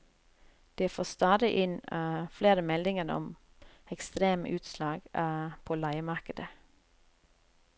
De får stadig inn flere meldinger om ekstreme utslag på leiemarkedet.